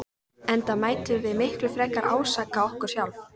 Enda mættum við miklu frekar ásaka okkur sjálf.